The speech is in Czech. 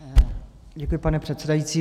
Děkuji, pane předsedající.